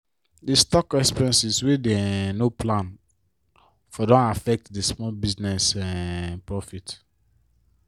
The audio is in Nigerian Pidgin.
the stock expenses wey dey um no plan for don affect di small business um profit.